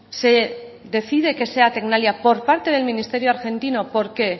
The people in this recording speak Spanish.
se decide que sea tecnalia por parte del ministerio argentino porque